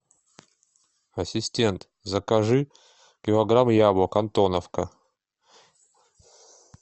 ассистент закажи килограмм яблок антоновка